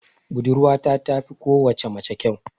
Budurwata tafi kowace mace kyau.